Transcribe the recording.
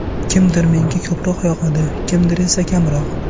Kimdir menga ko‘proq yoqadi, kimdir esa kamroq.